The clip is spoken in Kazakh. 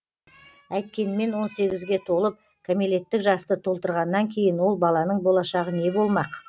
әйткенмен он сегізге толып кәмелеттік жасты толтырғаннан кейін ол баланың болашағы не болмақ